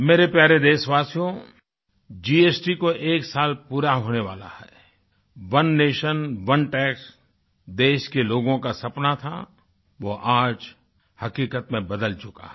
मेरे प्यारे देशवासियोजीएसटी को एक साल पूरा होने वाला है ओने नेशन ओने टैक्स देश के लोगों का सपना था वो आज हक़ीक़त में बदल चुका है